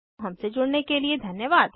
हमसे जुड़ने के लिए धन्यवाद